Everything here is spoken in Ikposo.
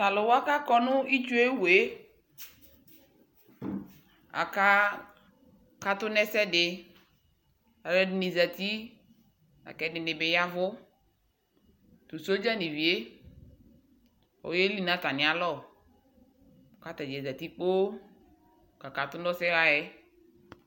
tʊ alʊwa kʊ akɔ nʊ itsu yɛ wu, akakatʊ nʊ ɛsɛdɩ, alʊɛdɩnɩ zati, lakʊ ɛdɩnɩ bɩ yavʊ, tʊ sadza yɛ, oyeli nʊ atamialɔ, kʊ atadza zati kpoo kakatʊ nʊ ɔsɛɣa yɛ